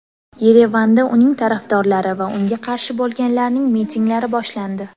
Yerevanda uning tarafdorlari va unga qarshi bo‘lganlarning mitinglari boshlandi.